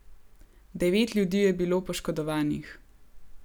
Devet ljudi je bilo poškodovanih.